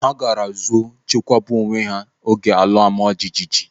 Ha gaara zo chekwaba onwe oge ala ọma jijiji.